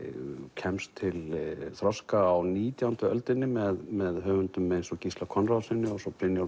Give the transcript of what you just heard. kemst til þroska á nítjándu öldinni með með höfundum eins og Gísla Konráðssyni og svo